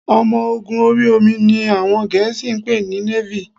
Ọmọ ogun ori omi ni àwọn Gẹ̀ẹ́sì ń pè ní Navy